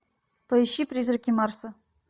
поищи призраки марса